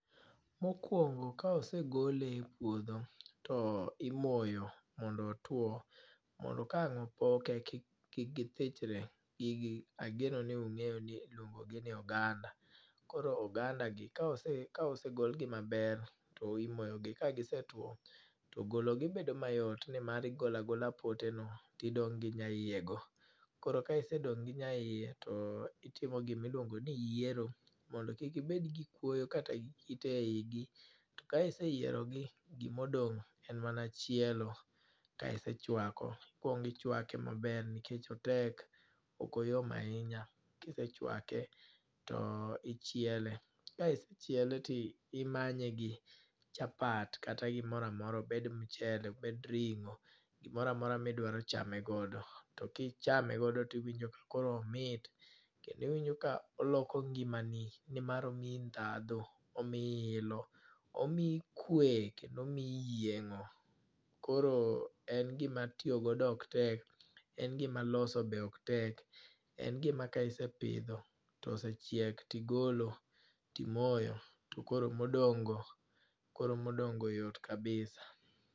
Mokwongo ka osegole e puodho, to imoyo mondo otwo. Mondo kaang' opoke kik kik githichore. Gigi ageno ni ungéyo ni iluongi ni oganda. Koro oganda gi, kaose, kaose golgi maber, to imoyogi. Ka gisetwo to gologi bedo mayot, ni mar, igolo agola pote no to dong' gi nyaie go. Koro ka isedong' gi nyaie, to itimo gi gima iluongo ni yiero. Mondo kik gibed gi kuoyo kata gi kite e i gi. Ka iseyierogi, gima odong' en mana chielo, kaisechwako. Ikwongo ichwake maber nikech otek. Ok oyom ahinya. Ka isechwake to ichiele. Ka isechiele to imanye gi chapat kata gimoro amora, obed mchele, obed ringó, gimoro amora ma idwaro chame godo. To ka ichame godo to iwinjo ka koro omit, kendo iwinjo ka oloko ngimani. Ni mar omii ndhadhu, omii ilo, omii kwe, kendo omii yiengó. Koro en gima tiyo godo ok tek. En gima loso be ok tek. En gima ka isepidho to osechiek, tigolo, timoyo, tokoro modongó go, koro modong'go yot kabisa.